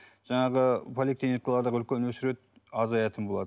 жаңағы поликлиникалардағы үлкен очередь азаятын болады